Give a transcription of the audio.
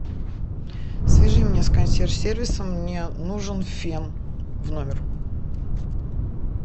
свяжи меня с консьерж сервисом мне нужен фен в номер